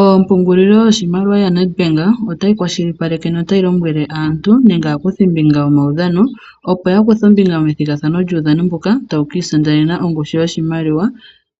Oompungulilo yoshimaliwa yaNed Bank otayi kwashilipaleke no tayi lombwele aantu nenge aakuthimbinga yomaudhano opo ya kuthe ombinga ya kuthe ombinga methigathano lyuushano mbuka tawu kiisindanenwa ongushu yoshimaliwa